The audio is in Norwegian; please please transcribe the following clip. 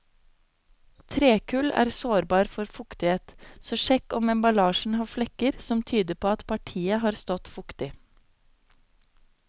Trekull er sårbar for fuktighet, så sjekk om emballasjen har flekker som tyder på at partiet har stått fuktig.